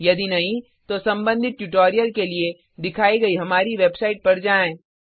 यदि नहीं तो संबंधित ट्यूटोरियल के लिए दिखाई गई हमारी वेबसाइट पर जाएँ